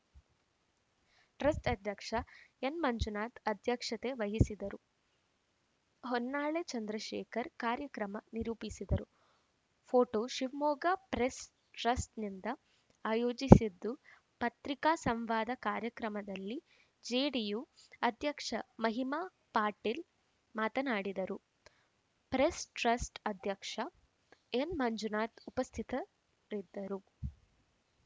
trust ಅಧ್ಯಕ್ಷ N Manjunath ಅಧ್ಯಕ್ಷತೆ ವಹಿಸಿದ್ದರು ಹೊನ್ನಾಳಿ ಚಂದ್ರಶೇಖರ್‌ ಕಾರ್ಯಕ್ರಮ ನಿರೂಪಿಸಿದರು ಪೋಟೋ ಶಿವಮೊಗ್ಗ ಪ್ರೆಸ್‌ಟ್ರಸ್ಟ್‌ನಿಂದ ಆಯೋಜಿಸಿದ್ದು ಪತ್ರಿಕಾ ಸಂವಾದ ಕಾರ್ಯಕ್ರಮದಲ್ಲಿ ಜೆಡಿಯು ಅಧ್ಯಕ್ಷ ಮಹಿಮಾ ಪಾಟೇಲ್‌ ಮಾತನಾಡಿದರು ಪ್ರೆಸ್‌ಟ್ರಸ್ಟ್‌ ಅಧ್ಯಕ್ಷ ಎನ್‌ ಮಂಜುನಾಥ ಉಪಸ್ಥಿತರಿದ್ದರು